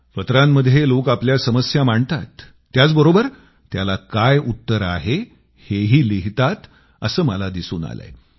पत्रांमध्ये लोक आपल्या समस्या मांडतात त्याचबरोबर त्याला काय उत्तर आहे हेही लिहितात असं मला दिसून आलंय